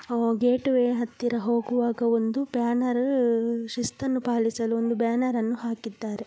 Gate way ಹತ್ತಿರ ಹೋಗುವಾಗ ಒಂದು ಬ್ಯಾನೆರ್ ಶಿಸ್ತನ್ನು ಪಾಲಿಸಲು ಒಂದು ಬ್ಯಾನೆರನ್ನು ಹಾಕಿದ್ದಾರೆ.